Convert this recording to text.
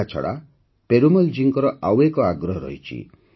ଏହାଛଡ଼ା ପେରୁମଲଜୀଙ୍କର ଆଉ ଏକ ଆଗ୍ରହ ରହିଛି